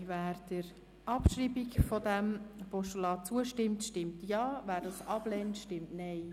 Wer der Abschreibung dieses Postulats zustimmt, stimmt Ja, wer dies ablehnt, stimmt Nein.